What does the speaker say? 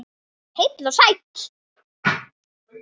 Heill og sæll!